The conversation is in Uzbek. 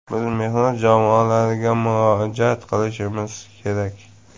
Biz mehnat jamoalariga murojaat qilishimiz kerak.